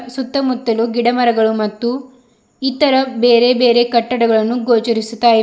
ಸುತ್ತಮುತ್ತಲು ಗಿಡಮರಗಳು ಮತ್ತು ಇತರ ಬೇರೆ ಬೇರೆ ಕಟ್ಟಡಗಳನ್ನು ಗೋಚರಿಸುತ್ತಾ ಇವೆ.